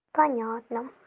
понятно